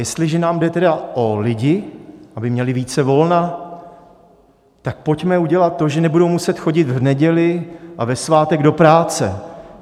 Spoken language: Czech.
Jestliže nám jde tedy o lidi, aby měli více volna, tak pojďme udělat to, že nebudou muset chodit v neděli a ve svátek do práce.